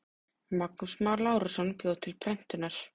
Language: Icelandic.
Magnús Már Lárusson bjó til prentunar.